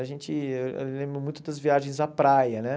A gente lembra muito das viagens à praia, né?